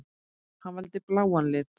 Hann valdi bláa litinn.